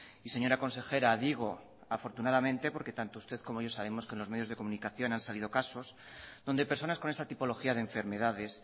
y señora consejera digo afortunadamente porque tanto usted como yo sabemos que en los medios de comunicación han salido casos donde personas con esta tipología de enfermedades